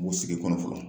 Bu sigi kɔnɔ fɔlɔ